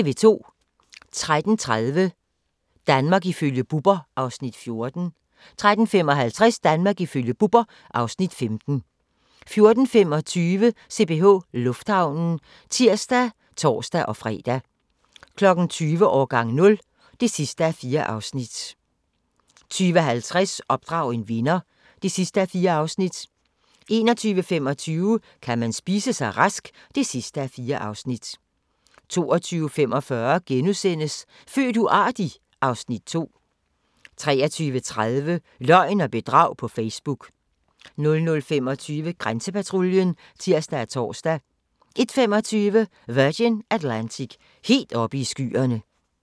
13:30: Danmark ifølge Bubber (Afs. 14) 13:55: Danmark ifølge Bubber (Afs. 15) 14:25: CPH Lufthavnen (tir og tor-fre) 20:00: Årgang 0 (4:4) 20:50: Opdrag en vinder (4:4) 21:25: Kan man spise sig rask? (4:4) 22:45: Født uartig? (Afs. 2)* 23:30: Løgn og bedrag på Facebook 00:25: Grænsepatruljen (tir og tor) 01:25: Virgin Atlantic - helt oppe i skyerne